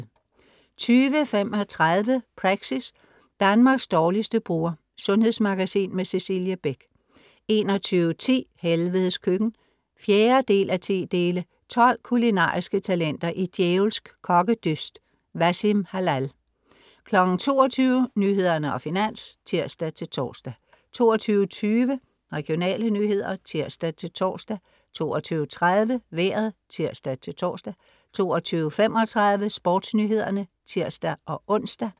20.35 Praxis. Danmarks dårligste burger. Sundhedsmagasin med Cecilie Beck 21.10 Helvedes Køkken. 4:10. 12 kulinariske talenter i djævelsk kokkedyst. Wassim Hallal 22.00 Nyhederne og Finans (tirs-tors) 22.20 Regionale nyheder (tirs-tors) 22.30 Vejret (tirs-tors) 22.35 SportsNyhederne (tirs-ons)